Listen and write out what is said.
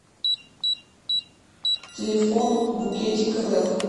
телефон букетикрф